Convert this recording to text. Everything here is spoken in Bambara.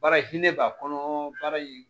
Baara hinɛ b'a kɔnɔ baara in